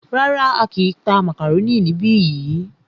Rárá,á kìí tá màkàrónì níbi yìí.